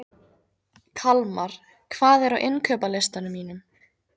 Kalmar, hvað er á innkaupalistanum mínum?